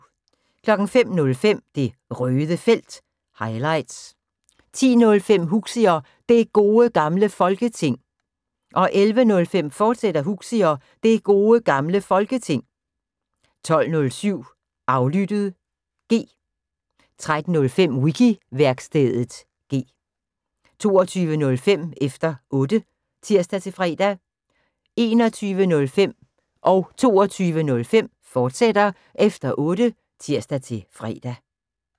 05:05: Det Røde Felt – highlights 10:05: Huxi og Det Gode Gamle Folketing 11:05: Huxi og Det Gode Gamle Folketing, fortsat 12:07: Aflyttet (G) 13:05: Wiki-værkstedet (G) 20:05: Efter Otte (tir-fre) 21:05: Efter Otte, fortsat (tir-fre) 22:05: Efter Otte, fortsat (tir-fre)